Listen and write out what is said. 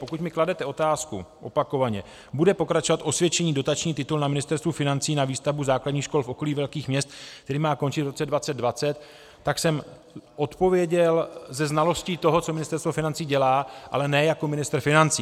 Pokud mi kladete otázku, opakovaně - bude pokračovat osvědčený dotační titul na Ministerstvu financí na výstavbu základních škol v okolí velkých měst, který má končit v roce 2020? - tak jsem odpověděl se znalostí toho, co Ministerstvo financí dělá, ale ne jako ministr financí.